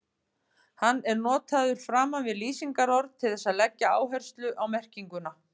Hann er notaður framan við lýsingarorð til þess að leggja áherslu á merkinguna.